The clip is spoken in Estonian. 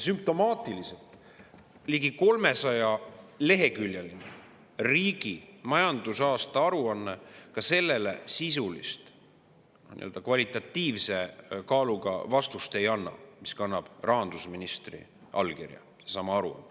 Sümptomaatiliselt ei anna ka ligi 300‑leheküljeline riigi majandusaasta aruanne sellele sisulist, nii-öelda kvalitatiivse kaaluga vastust, mis kannaks rahandusministri allkirja, me saame aru.